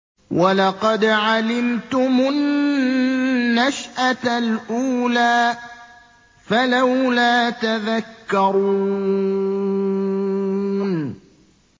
وَلَقَدْ عَلِمْتُمُ النَّشْأَةَ الْأُولَىٰ فَلَوْلَا تَذَكَّرُونَ